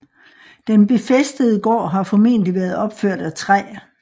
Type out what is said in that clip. Den befæstede gård har formentligt været opført af træ